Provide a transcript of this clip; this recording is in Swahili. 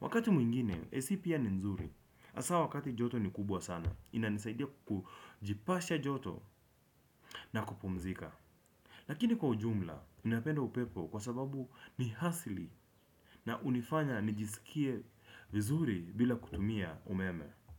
Wakati mwingine, AC pia ni nzuri. Asa wakati joto ni kubwa sana. Inanisaidia kujipasha joto na kupumzika. Lakini kwa ujumla, ninapenda upepo kwa sababu ni asili na hunifanya nijisikie vizuri bila kutumia umeme.